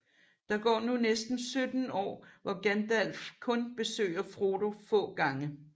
Der går nu næsten 17 år hvor Gandalf kun besøger Frodo få gange